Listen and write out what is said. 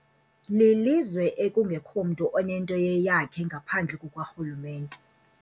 Lilizwe ekungekho mntu onento eyeyakhe ngaphandle kukarhulumente.